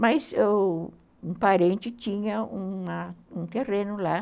Mas um parente tinha um terreno lá.